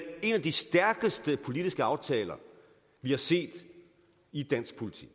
en af de stærkeste politiske aftaler vi har set i dansk politik